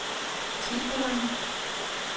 Tiberen